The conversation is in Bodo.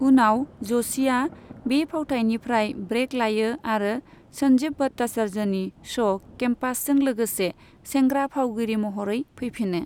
उनाव, ज'शीआ बे फावथाइनिफ्राय ब्रेक लायो आरो सन्जीव भट्टाचार्यनि श' केम्पासजों लोगोसे सेंग्रा फावगिरि महरै फैफिनो।